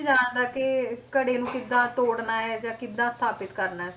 ਜਾਣਦਾ ਕਿ ਘੜੇ ਨੂੰ ਕਿੱਦਾਂ ਤੋੜਨਾ ਹੈ ਜਾਂ ਕਿੱਦਾਂ ਸਥਾਪਿਤ ਕਰਨਾ,